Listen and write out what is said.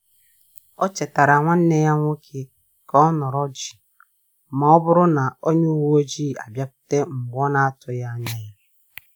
O chetara nwanneya nwoke ka ọ nọrọ jii ma ọ bụrụ na onye uwe ọjị abịakwute mgbe na-otughi anya ya